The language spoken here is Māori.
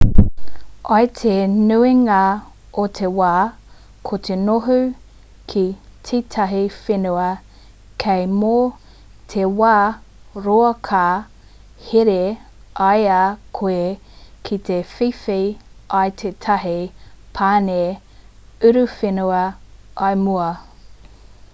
i te nuinga o te wā ko te noho ki tētahi whenua kē mō te wā roa ka here i a koe ki te whiwhi i tētahi pane uruwhenua i mua